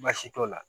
Baasi t'o la